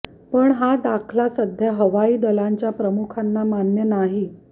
पण हा दाखला सध्याच्या हवाई दलांच्या प्रमुखाना मान्य नाही